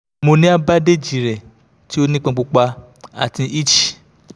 mo ni a bandage rẹ ti o nipọn pupa ati itchy